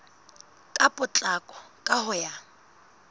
ka potlako ka ho ya